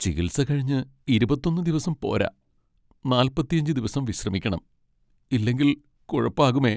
ചികിത്സ കഴിഞ്ഞ് ഇരുപത്തിഒന്ന് ദിവസം പോരാ , നാല്പത്തിഅഞ്ച് ദിവസം വിശ്രമിക്കണം. ഇല്ലെങ്കിൽ കുഴപ്പാകുമേ.